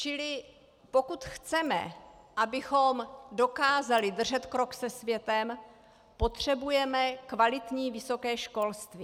Čili pokud chceme, abychom dokázali držet krok se světem, potřebujeme kvalitní vysoké školství.